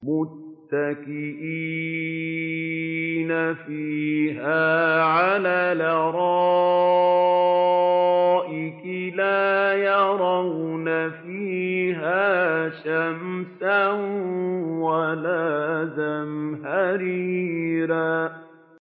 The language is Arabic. مُّتَّكِئِينَ فِيهَا عَلَى الْأَرَائِكِ ۖ لَا يَرَوْنَ فِيهَا شَمْسًا وَلَا زَمْهَرِيرًا